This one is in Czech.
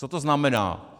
Co to znamená?